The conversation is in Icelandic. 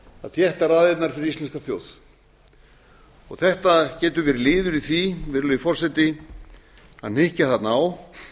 að þétta raðirnar fyrir íslenska þjóð þetta getur verið liður í því virðulegi forseti að hnykkja þarna á